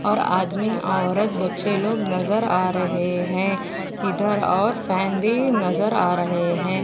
और आदमी औरत बच्चे लोग नजर आ रहे है इधर और फॅन भी नजर आ रहे है।